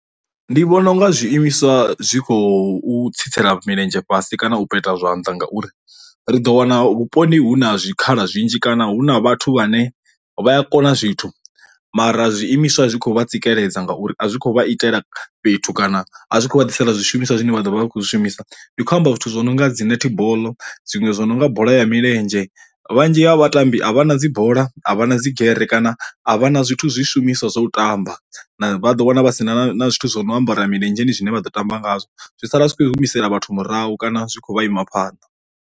Ndi vhona unga zwi imiswa zwi khou tsitsela milenzhe fhasi kana u peta zwanḓa ngauri, ri ḓo wana vhuponi hu na zwikhala zwinzhi kana hu na vhathu vhane vha a kona zwithu mara zwi imiswa zwi kho vha tsikeledza ngauri a zwi kho vha itela fhethu kana a zwi khou vha ḓisela zwishumiswa zwine vha ḓo vha vha khou zwi shumisa, ndi khou amba zwithu zwo no nga dzi netball zwinwe zwo no nga bola ya milenzhe vhanzhi ha vhatambi a vha na dzi bola a vha na dzi gere kana a vha na zwithu zwishumiswa zwa u tamba na vha ḓo wana vhasina zwithu zwo no ambara ya milenzheni zwine vha ḓo tamba ngazwo, zwi sala zwi kho humisela vhathu murahu kana zwi kho vha ima phanḓa.